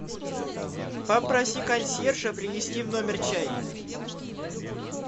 попроси консьержа принести в номер чай